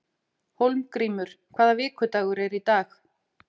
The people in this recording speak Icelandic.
Hólmgrímur, hvaða vikudagur er í dag?